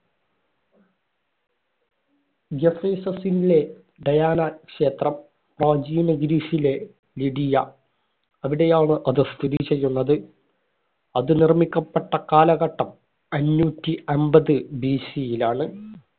എഫീസസ്സിലെ ഡയാനാക്ഷേത്രം. പ്രാചീന ഗ്രീസിലെ ലിഡിയ അവിടെയാണ് അത് സ്ഥിതി ചെയ്യുന്നത്. അത് നിര്‍മ്മിക്കപ്പെട്ട കാലഘട്ടം അഞ്ഞൂറ്റി അമ്പത് BC യിലാണ്